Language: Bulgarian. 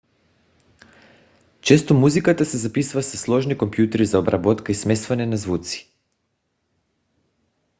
често музиката се записва със сложни компютри за обработка и смесване на звуци